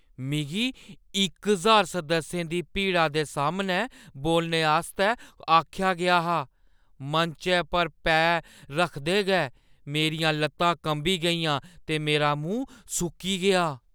मिगी इक ज्हार सदस्यें दी भीड़ा दे सामनै बोलने आस्तै आखेआ गेआ हा। मंचै पर पैर रखदे गै मेरियां लत्तां कंबी गेइयां ते मेरा मूंह् सुक्की गेआ।